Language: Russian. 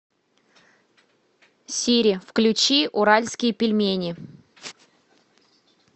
сири включи уральские пельмени